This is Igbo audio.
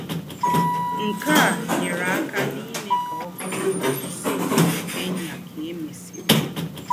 Nké à nyéré àká n’ímè ká ọ̀ bùrù ísí óbódò Kenya ká è mèsírì